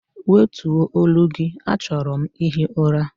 Wètuọ̀ olu gị, achọrọ m ihi ụra!